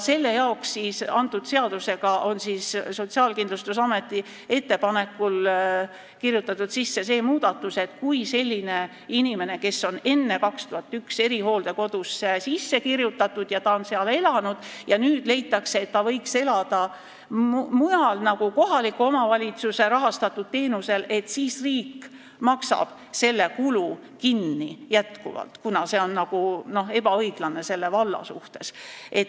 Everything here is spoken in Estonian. Selle jaoks on Sotsiaalkindlustusameti ettepanekul kirjutatud eelnõusse sisse see muudatus, et kui inimene on enne aastat 2001 erihooldekodusse sisse kirjutatud ja ta on seal elanud, aga nüüd leitakse, et ta võiks elada mujal ja saada kohaliku omavalitsuse rahastatud teenust, siis riik maksab selle kulu jätkuvalt kinni, et mitte olla ebaõiglane selle valla vastu.